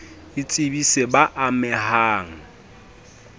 a tsebise b a mehang